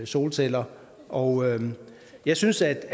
solceller og jeg synes altså